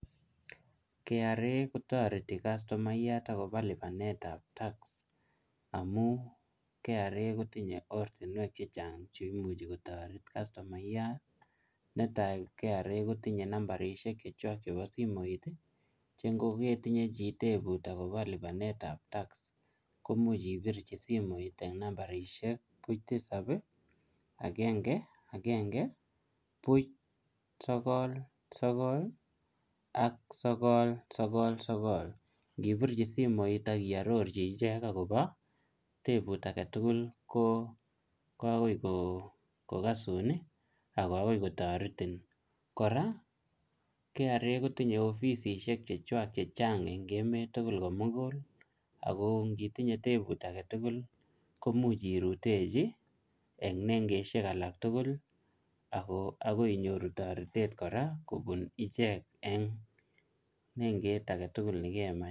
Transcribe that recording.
KRA kotoreti kastumayat akobo lipanetab tax amun kra kotinye ortinwek chechang cheimuchi kotoret kastumayat netai kra kotinye nambarishek chechwak chepo simoiti chengoketinye chi tebuti akobo lipanetab tax imuchi ibirchi simoit en nambarishek buch tisab agenge agenge buch sokol sokol ak sokol sokol sokol ngipirchi simoit ak iororchi ichek akobo tebut agetugul ko akoikokosun akoi ako kotoretin kora kra kotinye ofisishek chechwak chechang en emet tugul komuguli ako ngitinye tebu agetugul komuch irutechi en nengeshek alak tuguli ako akoi inyoru toretet kora kobun ichek en nenget agetugul nekemach